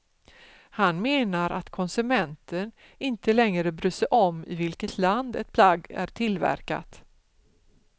Han menar att konsumenten inte längre bryr sig om i vilket land ett plagg är tillverkat.